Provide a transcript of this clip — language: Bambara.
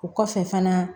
O kɔfɛ fana